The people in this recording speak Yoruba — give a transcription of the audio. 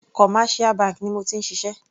Commercial bank ni mo ti ń ṣiṣẹ́.